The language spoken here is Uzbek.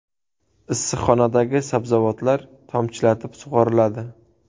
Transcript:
Issiqxonadagi sabzavotlar tomchilatib sug‘oriladi.